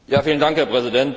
Herr Präsident!